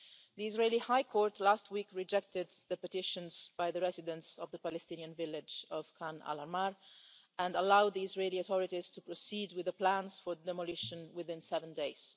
The Israeli High Court last week rejected the petitions by the residents of the Palestinian village of Khan al Ahmar and allowed the Israeli authorities to proceed with the plans for demolition within seven days.